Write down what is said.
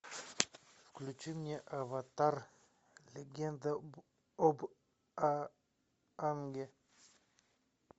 включи мне аватар легенда об аанге